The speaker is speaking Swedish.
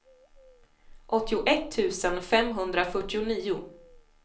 åttioett tusen femhundrafyrtionio